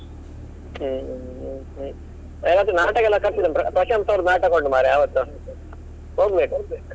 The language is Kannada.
ಹ್ಮ್ ಹ್ಮ್ ಹ್ಮ್ ಅವತ್ತು ನಾಟಕ ಎಲ್ಲ ಕರ್ಸಿದ್ದ~ ಪ್ರಶಂಸ ಅವ್ರದ್ದು ನಾಟಕ ಉಂಟು ಮಾರೆ ಆವತ್ತು ಹೋಗ್ಬೇಕು.